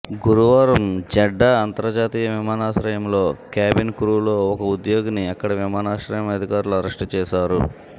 గురువారం జెడ్డా అంతర్జాతీయ విమానాశ్రయంలో క్యాబిన్ క్రూలో ఒక ఉద్యోగిని అక్కడి విమానాశ్రయం అధికారులు అరెస్టు చేశారు